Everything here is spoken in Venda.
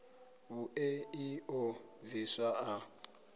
vhuṋe ḽi ḓo bviswa ḽa